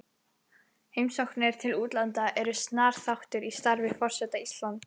Heimsóknir til útlanda eru snar þáttur í starfi forseta Íslands.